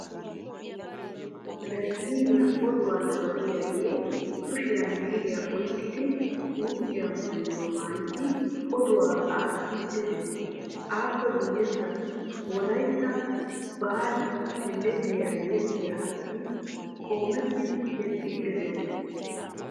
Televizhzhiiniya oduwaa nabbabiyaagee kushiyan biiriyaa oykkidi suufe maayuwaa maayidi oduwaa aattiidi dees. appe guyessan Wolaytta baali heelleliya yexxiya asati qoometidi yexxiidi doosona.